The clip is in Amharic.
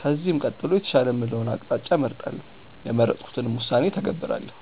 ከዚህም ቀጥሎ የተሻለ የምለውን አቅጣጫ እመርጣለው። የመረጥኩትንም ውሳኔ እተገብራለው።